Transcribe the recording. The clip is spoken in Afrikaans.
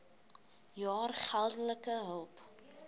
jaar geldelike hulp